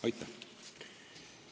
Aitäh!